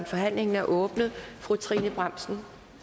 forhandlingen er åbnet fru trine bramsen